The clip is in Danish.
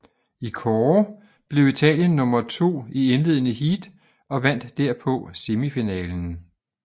I kårde blev Italien nummer to i indledende heat og vandt derpå semifinalen